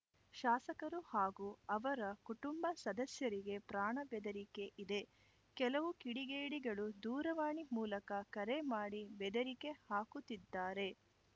ಶಾಸಕರು ಹಾಗೂ ಅವರ ಕುಟುಂಬ ಸದಸ್ಯರಿಗೆ ಪ್ರಾಣ ಬೆದರಿಕೆ ಇದೆ ಕೆಲವು ಕಿಡಿಗೇಡಿಗಳು ದೂರವಾಣಿ ಮೂಲಕ ಕರೆ ಮಾಡಿ ಬೆದರಿಕೆ ಹಾಕುತ್ತಿದ್ದಾರೆ